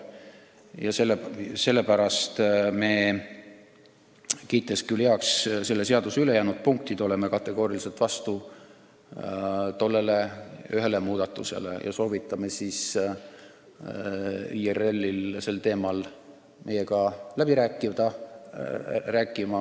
Ja sellepärast me, kiites küll heaks selle seaduseelnõu ülejäänud punktid, oleme kategooriliselt vastu tollele ühele muudatusele ja soovitame IRL-il sel teemal meiega läbi rääkida.